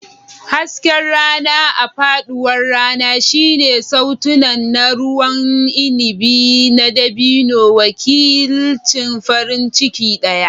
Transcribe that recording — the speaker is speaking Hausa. Hasken rana a faɗuwar rana shine sautunan na ruwan inabi na dabino, wakilcin farin ciki ɗaya.